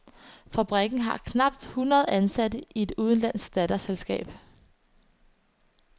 Fabrikken har knap hundrede ansatte i et udenlandsk datterselskab.